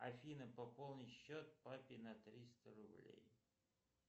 афина пополни счет папе на триста рублей